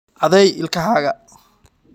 Caday ilkahaaga